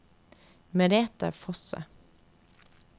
Merete Fosse